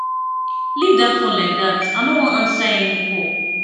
leave dat phone like dat i no wan answer any call